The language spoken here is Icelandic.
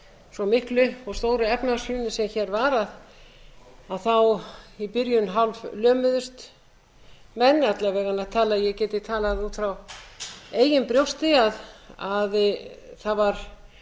svo miklu og stóru efnahagshruni sem hér var að þá í byrjun hálflömuðust menn alla vega get ég talað út frá eigin brjósti að það var